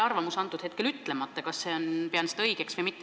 Jätan hetkel ütlemata enda arvamuse, kas ma pean seda õigeks või mitte.